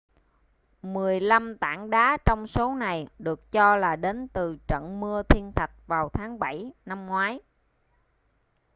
mười lăm tảng đá trong số này được cho là đến từ trận mưa thiên thạch vào tháng 7 năm ngoái